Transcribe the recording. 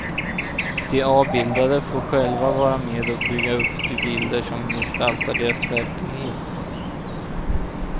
De avbildade får själva vara med och bygga upp de bilder som gestaltar deras verklighet.